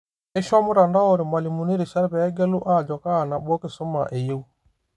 Keishoo mtandao irmalimuni erishata peegelu ajo kaa nabo kisuma eyiew.